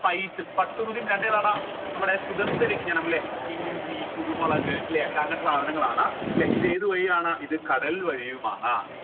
spice പട്ടു തുണിയും രണ്ട് ഏതാടാ നമ്മുടെ സുഗന്ധവ്യഞ്ജനം ല്ലെ ഇഞ്ചി കുരുമുളക് ല്ലെ അങ്ങനത്ത സാധനങ്ങളാണ് ല്ലെ ഇത് ഏത് വഴിയാണ് ഇത് കടൽ വഴിയുമാണ്